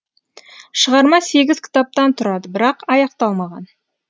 шығарма сегіз кітаптан тұрады бірақ аяқталмаған